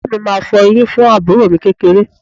Ìyá mi máa fọ eyín fún àbúrò mi kékeré